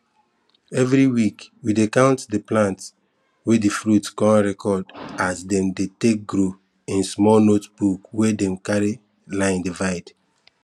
everi week we dey count di plants wey dey fruit con record as dem dey take grow in small notebook wey dem carry line divide